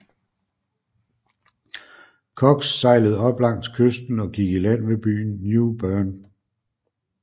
Cox sejlede op langs kysten og gik i land ved byen New Bern